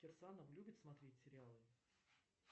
кирсанов любит смотреть сериалы